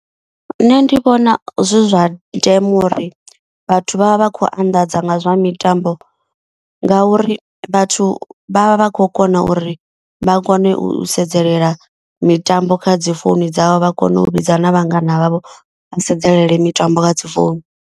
Nṋe ndi vhona zwi zwa ndeme uri vhathu vha vha vha khou anḓadza nga zwa mitambo. Ngauri vhathu vha vha vha khou kona uri vha kone u sedzelela mitambo kha dzi founu dzavho. Vha kone u vhidza na vhangana vhavho vha sedzelele mitambo kha dzi founu.